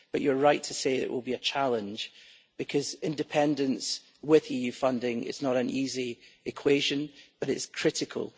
But you're right to say that it will be a challenge, because independence with EU funding is not an easy equation, but it's critical.